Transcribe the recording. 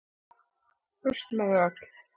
Burt með þau öll.